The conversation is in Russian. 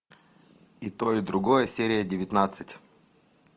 и то и другое серия девятнадцать